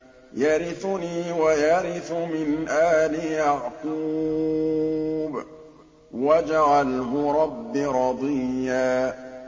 يَرِثُنِي وَيَرِثُ مِنْ آلِ يَعْقُوبَ ۖ وَاجْعَلْهُ رَبِّ رَضِيًّا